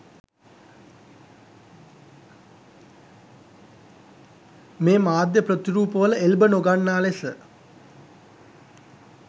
මේ මාධ්‍ය ප්‍රතිරූපවල එල්බ නො ගන්නා ලෙස